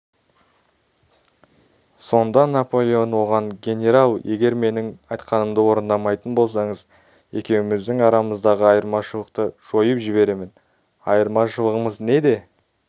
сонда наполеон оған генерал егер менің айтқанымды орындамайтын болсаңыз екеуміздің арамыздағы айырмашылықты жойып жіберемін айырмашылығымыз неде